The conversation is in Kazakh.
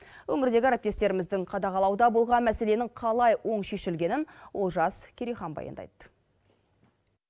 өңірдегі әріптестеріміздің қадағалауда болған мәселенің қалай оң шешілгенін олжас керейхан баяндайды